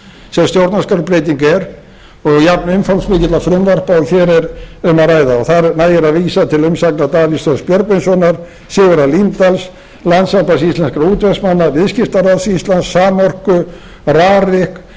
sem stjórnarskrárbreyting er og jafnumfangsmikils frumvarpa s og hér er um að ræða þar nægir að vísa til umsagnar davíðs þórs björgvinssonar sigurðar líndals landssambands íslenskra útvegsmanna viðskiptaráðs íslands samorku rarik